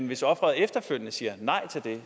hvis offeret efterfølgende siger nej til det